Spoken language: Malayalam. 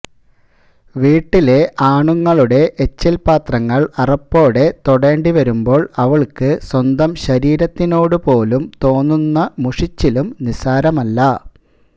വീട്ടിലെ ആണുങ്ങളുടെ എച്ചിൽ പാത്രങ്ങൾ അറപ്പോടെ തൊടേണ്ടി വരുമ്പോൾ അവൾക്ക് സ്വന്തം ശരീരത്തിനോട് പോലും തോന്നുന്ന മുഷിച്ചിലും നിസ്സാരമല്ല